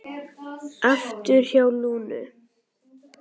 Aftur hjá Lúnu